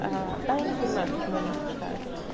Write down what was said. а да я не понимаю почему они это читаю